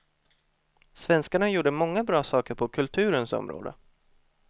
Svenskarna gjorde många bra saker på kulturens område.